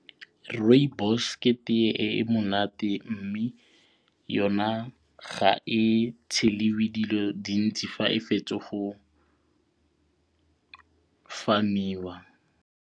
Rooibos ke tee e e monate mme yona ga e tshelwe dilo dintsi fa e fetso go farm-iwa.